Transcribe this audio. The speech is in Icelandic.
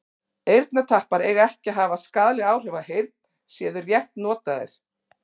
eyrnatappar eiga ekki að hafa skaðleg áhrif á heyrn séu þeir rétt notaðir